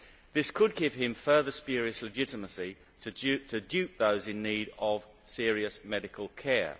This could give him further spurious legitimacy to dupe those in need of serious medical care.